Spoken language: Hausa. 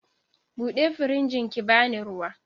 Buɗe firinjin ki bani ruwa